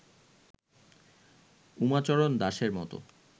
উমাচরণ দাসের মত